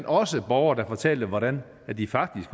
også borgere der fortalte hvordan de faktisk